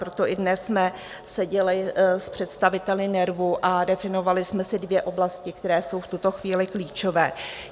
Proto i dnes jsme seděli s představiteli NERVu a definovali jsme si dvě oblasti, které jsou v tuto chvíli klíčové.